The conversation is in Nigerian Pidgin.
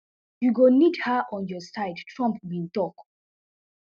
you go need her on your side trump bin tok